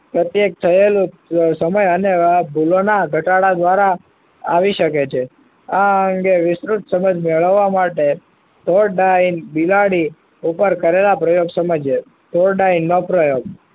પ્રત્યેક થયેલું સમય અને ભૂલોના ઘટાડા દ્વારા આવી શકે છે આ અંગે વિસ્તૃત સમજ મેળવવા માટે ફોરડાઈન બિલાડી ઉપર કરેલા પ્રયોગ સમજીએ ફોર ડાઈન નો પ્રયોગ